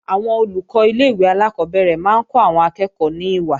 Àwọn Olùkọ́ ilé-ìwé alákọ́bẹ̀rẹ̀ máa ń kọ́ àwọn akẹ́ẹ̀kọ́ ní ìwà